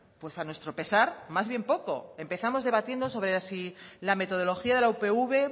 pues a nuestro pesar más bien poco empezamos debatiendo sobre si la metodología de la upv